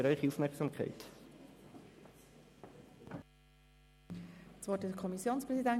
Der Kommissionspräsident hat das Wort.